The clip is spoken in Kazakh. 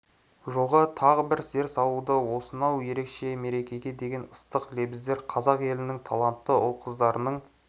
жолға тағы бір зер салуда осынау ерекше мерекеге деген ыстық лебіздер қазақ елінің талантты ұл-қыздарының